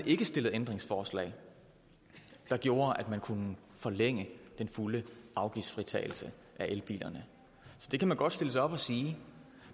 ikke stillet ændringsforslag der gjorde at man kunne forlænge den fulde afgiftsfritagelse af elbilerne det kan man godt stille sig op og sige